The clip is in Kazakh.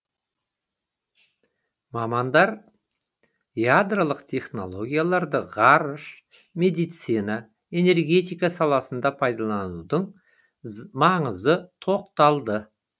мамандар ядролық технологияларды ғарыш медицина энергетика саласында пайдаланудың маңызына тоқталды